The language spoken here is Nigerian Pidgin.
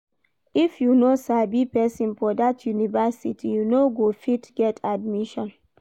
If you no sabi pesin for dat university, you no go fit get admission.